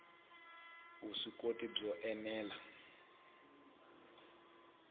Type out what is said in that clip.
vuswikoti byo ene la vuswikoti